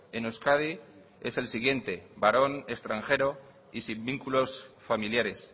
en euskadi es el siguiente varón extranjero y sin vínculos familiares